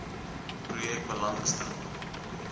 projek belang stel